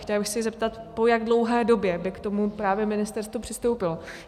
Chtěla bych se zeptat, po jak dlouhé době by k tomu právě ministerstvo přistoupilo.